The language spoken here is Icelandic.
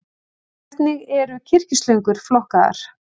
Hvernig eru kyrkislöngur flokkaðar?